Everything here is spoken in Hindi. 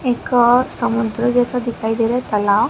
एक और समुद्र जैसा दिखाई दे रहा है तालाब--